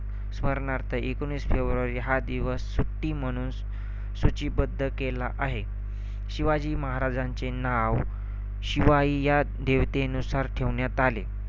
स्मरणार्थ एकोणीस फेब्रुवरी हा दिवस सुट्टी म्हणून सूचीबद्ध केला आहे. शिवाजी महाराजांचे नाव शिवाई या देवतेनुसार ठेवण्यात आले.